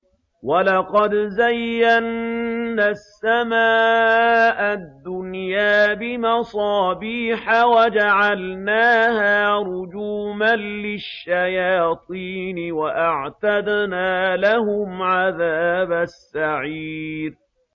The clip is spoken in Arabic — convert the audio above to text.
وَلَقَدْ زَيَّنَّا السَّمَاءَ الدُّنْيَا بِمَصَابِيحَ وَجَعَلْنَاهَا رُجُومًا لِّلشَّيَاطِينِ ۖ وَأَعْتَدْنَا لَهُمْ عَذَابَ السَّعِيرِ